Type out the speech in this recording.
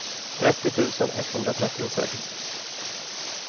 trettio tusen etthundratrettiosex